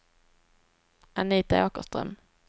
Anita Åkerström